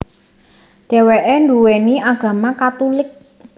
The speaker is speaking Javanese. Dheweke nduweni agama Katulik